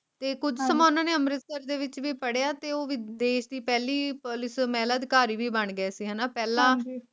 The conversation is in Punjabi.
ਤੇ ਕੁਜ ਸਮਾਂ ਉਨ੍ਹਾਂ ਨੇ ਅੰਮ੍ਰਿਤਸਰ ਦੇ ਵਿਚ ਵੀ ਪੜ੍ਹਿਆ ਤੇ ਉਹ ਵੀ ਦੇਸ਼ ਦੀ ਪਹਿਲੀ ਪੁਲਿਸ ਮਹਿਲਾ ਅਧਿਕਾਰੀ ਬਣ ਗਏ ਸੀ ਹਣਾ ਪਹਿਲਾ